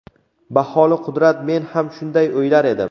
Baholi-qudrat men ham shunday o‘ylar edim.